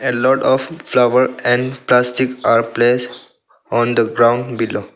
A lot of flower and plastic are placed on the ground below.